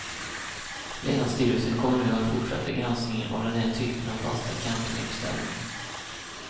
Länsstyrelsen kommer nu att fortsätta granskningen av den här typen av fasta campinguppställningar.